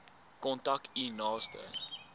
kontak u naaste